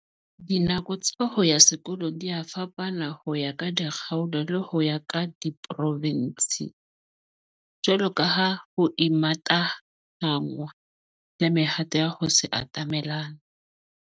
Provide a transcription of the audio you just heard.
Dinako tsa ho ya sekolong dia fapana ho ya ka dikgaolo le ho ya ka diporofinse, jwalo ka ha ho imatahanngwa le mehato ya ho se atamelane.